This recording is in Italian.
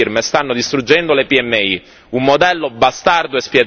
I salari non crescono da anni, le grandi firme stanno distruggendo le PMI.